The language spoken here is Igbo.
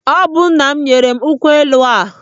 Ọ bụ nna m nyere m nkwụ elu ahụ.